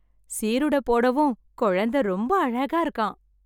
சீருட போடவும் கொழந்த ரொம்ப அழகா இருக்கான்.